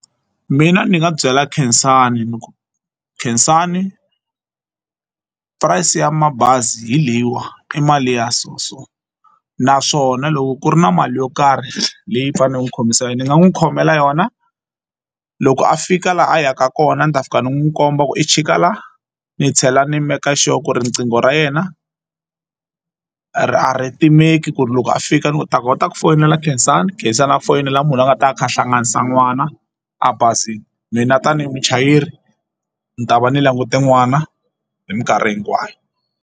Mina ni nga byela Khensani niku Khensani price ya mabazi hi leyiwa i mali ya so so naswona loko ku ri na mali yo karhi leyi i faneleke u ni khomisa yo ni nga n'wi khomela yona loko a fika laha a yaka kona ni ta fika ni n'wi komba ku i chika la ni tlhela ni make sure ku ri riqingho ra yena a ri a ri timeki ku ri loko a fika ni ta kota ku foyinela Khensani Khensani a foyinela munhu a nga ta va a kha a hlanganisa n'wana a bazini mina tanihi muchayeri ni ta va ni langute n'wana hi mikarhi hinkwayo.